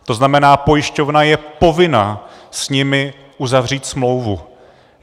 To znamená, pojišťovna je povinna s nimi uzavřít smlouvu.